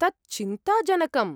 तत् चिन्ताजनकम्।